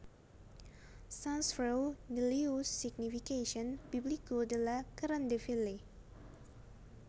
Sans feu ni lieu Signification biblique de la Grande Ville